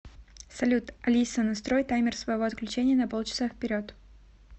салют алиса настрой таймер своего отключения на пол часа вперед